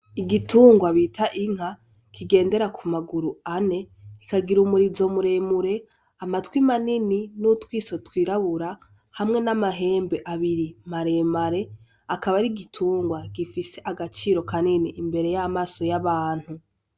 Igitungwa bita inka kigendera ku maguru ane, kikagira umurizo muremure, amatwi manini n'utwiso twirabura hamwe n'amahembe abiri maremare. Akaba ari igitungwa gifise agaciro kanini imbere y'amaso y'abantu.